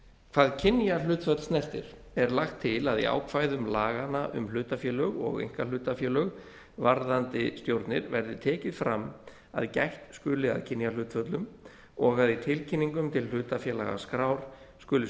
hvað kynjahlutföll snertir er lagt til að í ákvæðum laganna um hlutafélög og einkahlutafélög varðandi stjórnir verði tekið fram að gætt skuli að kynjahlutföllum og að í tilkynningum til hlutafélagaskrár skuli